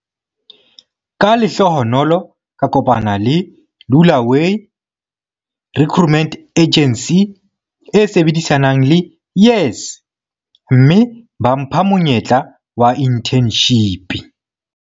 "Ka lehlohonolo ka kopana le Lula way Recruitment Agency e sebedisanang le YES, mme ba mpha monyetla wa inthenshipi."